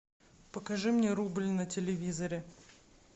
покажи мне рубль на телевизоре